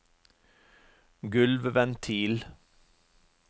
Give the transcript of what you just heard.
gulvventil